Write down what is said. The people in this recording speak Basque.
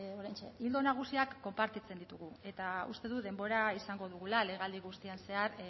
oraintxe ildo nagusiak konpartitzen ditugu eta uste dut denbora izango dugula legealdi guztiaren zehar